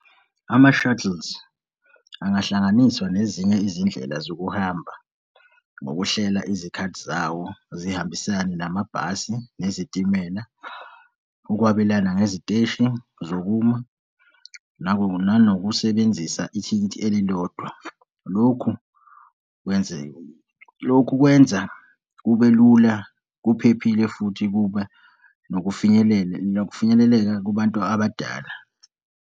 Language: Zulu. Ama-shuttles angahlanganiswa nezinye izindlela zokuhamba ngokuhlela izikhathi zawo zihambisane namabhasi nezitimela ukwabelana ngeziteshi zokuma nanokusebenzisa ithikithi elilodwa, lokhu kwenzeke. Lokhu kwenza kube lula kuphephile futhi kuba nokufinyelela, kufinyeleleka kubantu abadala.